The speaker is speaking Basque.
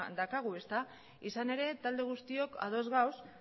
daukagu ezta izan ere talde guztiok ados gaude